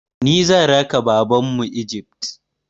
Ni zan raka Babanmu Egypt.